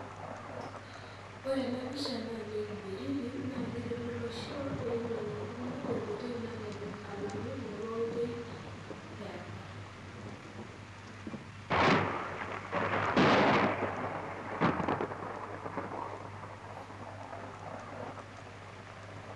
ore ena pisha naa ene nkiberiti naa keritu olosho peinok enkima tenkoitoi nalelek alangu enapa oitoi eapa .